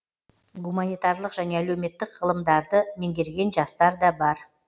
гуманитарлық және әлеуметтік ғылымдарды меңгерген жастар да бар